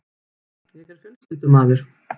Ég er fjölskyldumaður.